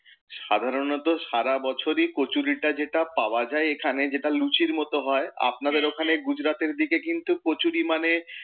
সাধারণত সারা বছরই কচুরিটা যেটা পাওয়া যায় এখানে যেটা লুচির মত হয়, আপনাদের ওখানে গুজরাতের দিকে কিন্তু কচুরি মানে,